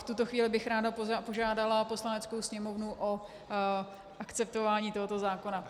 V tuto chvíli bych ráda požádala Poslaneckou sněmovnu o akceptování tohoto zákona.